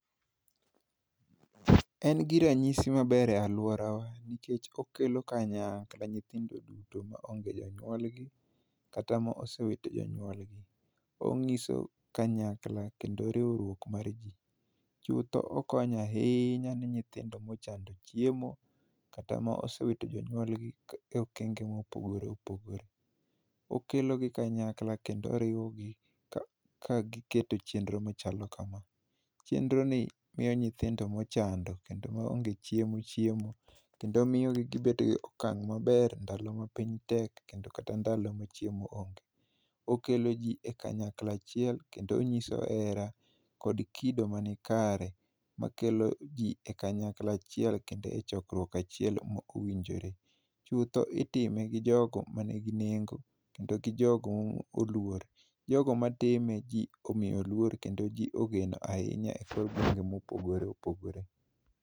En gi ranyisi maber e alworawa, nikech okelo kanyakla, nyithindo duto ma onge jonyuolgi, kata ma osewito jonyuolgi. Ong'iso kanyakla kendo riwruok mar ji. Chutho okonya ahinya ni nyithindo mochando chiemo kata ma asewito jonywol gi e okenge mopogore opogore. Okelo gi kanyakla, kendo oriwogi ka, ka giketo chenro machalo kama. Chenro ni miyo nyithindo mochando, kendo maonge chiemo, chiemo. Kendo miyo gi gibedo go okang' maber ndalo ma piny tek, kendo kata ndalo ma chiemo onge. Okelo ji e kanyakla achiel, kendo onyiso hera kod kido manikare makelo ji e kanyakla achiel, kendo e chokruok achiel ma owinjore. Chutho itime gi jogo ma nigi nengo, kendo gi jogo ma oluor. Jogo matime ji omiyo luor, kendo ji ogeno ahinya e kor gwenge mopogore opogore.